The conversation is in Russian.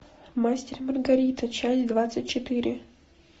мастер и маргарита часть двадцать четыре